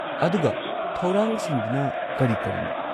ꯑꯗꯨꯒ ꯊꯧꯔꯥꯡꯁꯤꯡꯗꯨꯅ ꯀꯔꯤ-ꯀꯔꯤꯅꯣ?